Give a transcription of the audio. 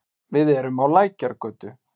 Við erum á Lækjargötu.